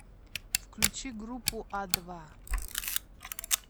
включи группу а два